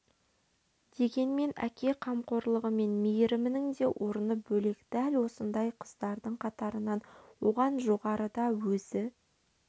дегенмен әке қамқорлығы мен мейірімінің де орны бөлек дәл осындай қыздардың қатарынан оған жоғарыда өзі